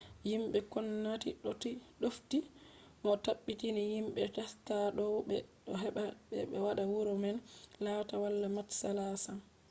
yimɓe ngomnati ɗofti mo o tabbitini yimɓe teksas dow ɓe ɗo haɓda ɓe waɗa wuro man latta wala matsala sam